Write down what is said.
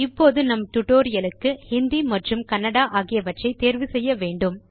இப்போது நம் டியூட்டோரியல் க்கு ஹிந்தி மற்றும் கன்னடா ஆகியவற்றை தேர்வு செய்ய வேண்டும்